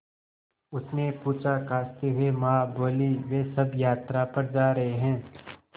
उसने पूछा खाँसते हुए माँ बोलीं वे सब यात्रा पर जा रहे हैं